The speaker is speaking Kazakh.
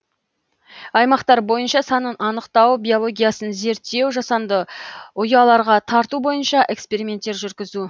аймақтар бойынша санын анықтау биологиясын зерттеу жасанды ұяларға тарту бойынша эксперименттер жүргізу